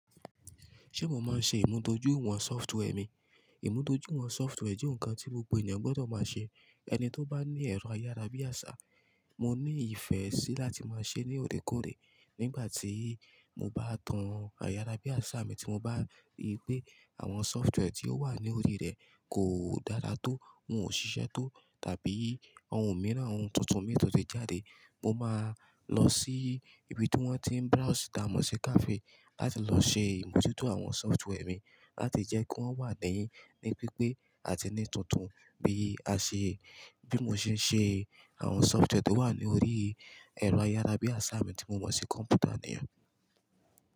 Ṣé mo máa ń ṣe ìmúdójúìwọ̀n software mi? Ìmúdójúìwọ̀n software jẹ́ ohun kan tí gbogbo ènìyàn gbọdọ̀ máa ṣe. Ẹni tí ó bá ní ẹ̀rọ ayárabíàṣá, mo ní ìfẹ́ sí láti máa ṣe ní òrékòré. Nígbà tí mo bá tan ayárabíàṣá mi tí mo bá rí pé àwọn software tí ó wà ní orí rẹ̀ kò dara tó, wọ́n ò ṣiṣẹ́ tó tàbí ohun mìíràn, ohun tuntun mìíràn tun ti jáde, mo máa lọ sí ibi tí wọ́n ti ń browse, tàa mo si cafe láti lọ ṣe ìmojuto awon software mi láti jẹ́ kí wọ́n wà níi ní pípé àti ní tuntun bí a ṣe, bí mo ṣe ń ṣe àwọn software tó wà ní orí ẹ̀rọ ayárabíàṣá mi tí mo mọ̀ sí kọ̀m̀pútà niyen.